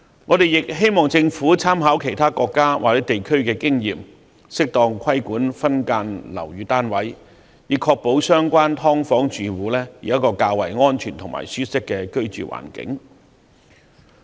我們亦希望政府參考其他國家或地區的經驗，適當規管分間樓宇單位，以確保"劏房"住戶有較為安全和舒適的居住環境。